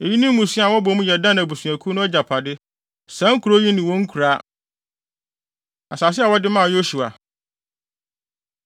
Eyi ne mmusua a wɔbɔ mu yɛ Dan abusuakuw no agyapade, saa nkurow yi ne wɔn nkuraa. Asase A Wɔde Maa Yosua